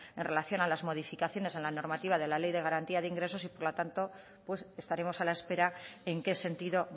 en relación a las modificaciones en la normativa de la ley de garantía de ingresos y por lo tanto pues estaremos a la espera en qué sentido